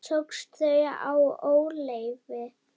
Tókstu þau í óleyfi?